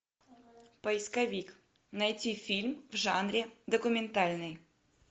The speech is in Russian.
поисковик найти фильм в жанре документальный